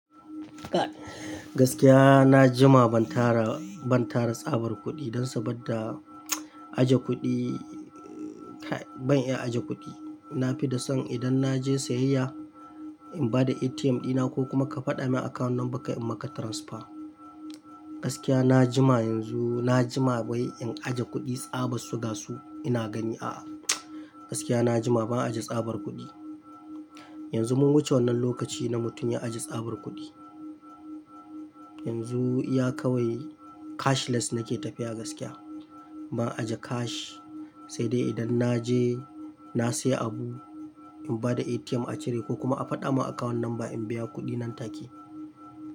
Gaskiya na jima ban tara, ban tara tsabar kuɗi don saboda aje kuɗi, ban iya aje kuɗi. Na fi da san idan na je siyayya in ba da ATM ɗina ko kuma ka faɗa min account number ka in maka transfer. Gaskiya na jima yanzu, na jima wai in aje kuɗi tsabar su ga su ina gani a. Gaskiya na jima ban aje tsabar kuɗi. Yanzu mun wuce wannan lokaci na mutum ya aje tsabar kuɗi. Yanzu iya kawai cashless nake tafiya gaskiya. Ban aje cash sai dai idan na je na siya abu in ba da ATM a cire ko kuma a faɗa min account number in biya kuɗi nan take.